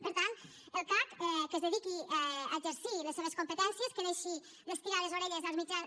per tant el cac que es dediqui a exercir les seves competències que deixi d’estirar les orelles als mitjans